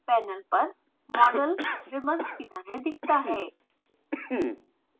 panel पर model ribbons की तरह दिखता है